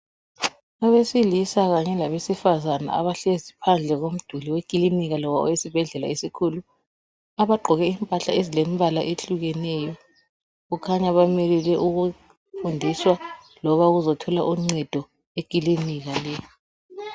Abesilisa kanye kabesifazana, abahlezi phandle komduli wekilinika loba owesibhedlela esikhulu. Bagqoke impahla ezilembala ehlukeneyo, Kukhanya balinde ukufundiswa kumbe uukuzethola uncedo, ekilinika le.